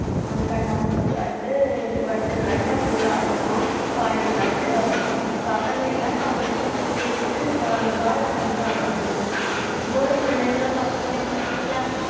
அஹ் கண்ணாமூச்சி விளையாட்டு, பட்டு விளையாட்டு அப்படி விளையாடுவோம் பாண்டி விளையாட்டு அப்படி பசங்க எல்லாம் கபடி cricket உ volleyball அப்படின்னு விளையாடுவானுங்க இப்ப உள்ள பிள்ளைங்களும் பசங்களையும் பாத்தீங்களா